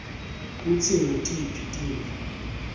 kutsi ngutiphi tintfo